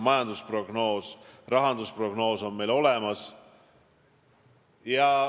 Majandusprognoos, rahandusprognoos on meil olemas.